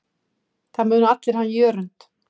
Það muna allir hann Jörund.